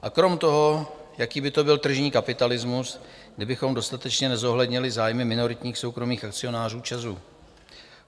A krom toho, jaký by to byl tržní kapitalismus, kdybychom dostatečně nezohlednili zájmy minoritních soukromých akcionářů ČEZu?